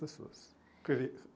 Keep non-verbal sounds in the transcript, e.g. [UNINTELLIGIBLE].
pessoas. [UNINTELLIGIBLE]